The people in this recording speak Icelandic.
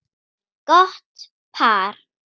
Gott par.